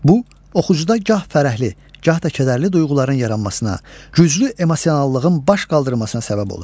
Bu, oxucuda gah fərəhli, gah da kədərli duyğuların yaranmasına, güclü emosionallığın baş qaldırmasına səbəb olur.